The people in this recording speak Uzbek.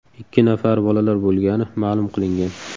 Ikki nafari bolalar bo‘lgani ma’lum qilingan.